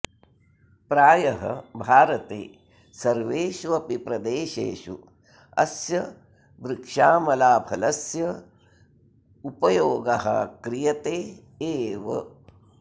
प्रायः भारते सर्वेषु अपि प्रदेशेषु अस्य वृक्षामलाफलस्य उपयोगः क्रियते एव